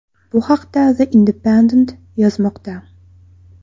Bu haqda The Independent yozmoqda .